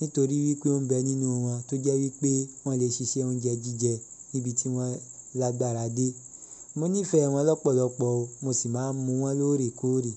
Nítorí wípé ó ń bẹ nínú wọn tó jẹ́ wípé wọ́n lè ṣiṣẹ́ oúnjẹ jíjẹ níbi tí wọ́n lágbára dé. Mo nífẹ̀ẹ́ wọn lọ́pọ̀lọpọ̀ o, mo sì máa ń mú wọn lóore kóòré.